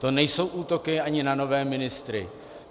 To nejsou útoky ani na nové ministry.